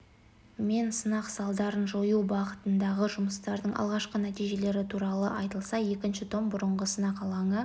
мен сынақ салдарын жою бағытындағы жұмыстардың алғашқы нәтижелері туралы айтылса екінші том бұрынғы сынақ алаңы